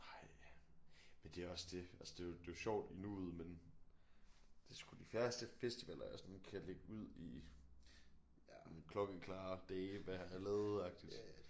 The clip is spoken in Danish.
Nej men det er også det altså det er jo det er jo sjovt i nuet men det er sgu de færreste festivaler jeg sådan kan lægge ud i ja klokkeklare dele hvad jeg har lavet agtigt